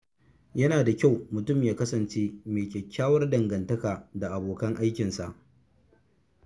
Yana da kyau mutum ya kasance mai kyakkyawar dangantaka da abokan aikinsa.